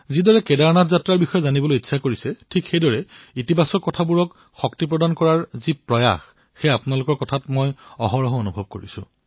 যিদৰে কেদাৰৰ বিষয়ত জনতাই জানিবলৈ ইচ্ছা ব্যক্ত কৰিছে ঠিক সেইদৰে এক ধনাত্মক কামক বল দিয়াৰ আপোনালোকৰ প্ৰয়াস আপোনালোকৰ কথাৰ পৰা মই নিৰন্তৰে অনুভৱ কৰো